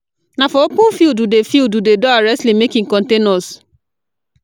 Na for open field we dey field we dey do our wrestling, make e contain us.